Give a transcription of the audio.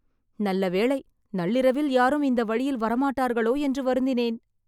நல்லவேளை.. நள்ளிரவில் யாரும் இந்த வழியில் வரமாட்டார்களோ என்று வருந்தினேன்